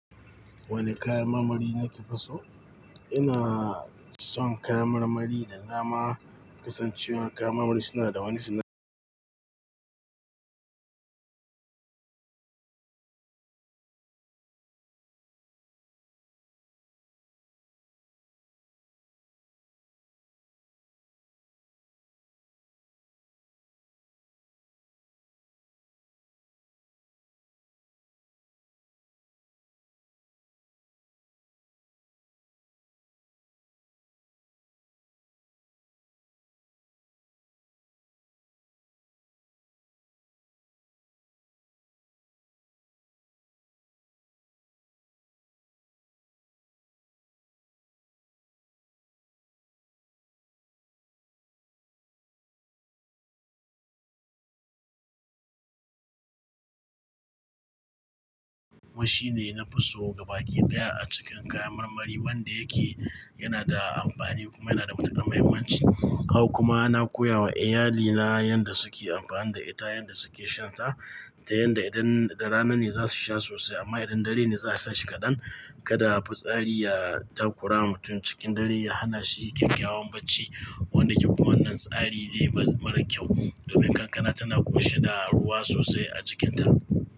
Wane kayan marmari nake fiso? Ina son kayan marmari da nama. Kasancewar kayan marmari suna da wani suna, shi ne nafi so ga baki daya a cikin kayan marmari. Wanda yake yana da amfani kuma yana da matukar muhimmanci. Haka kuma na koya wa iyalina yadda suke amfani da ita, yadda suke shan ta da yadda idan da rana ne za su sha sosai amma idan dare ne za a sa shi kaɗan. Kada futsari ya takura ma mutum cikin dare, ya hana shi kyakkyawan bacci. Wanda yake kuma wannan tsari ne baz mara kyau domin kankana tana ƙoshe da ruwa sosai a cikinta.